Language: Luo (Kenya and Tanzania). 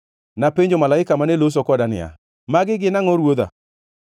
Napenjo malaika mane loso koda niya, “Magi gin angʼo, ruodha?”